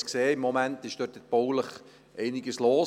Im Moment ist dort in baulicher Hinsicht einiges los.